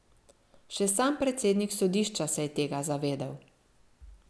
Še sam predsednik sodišča se je tega zavedel.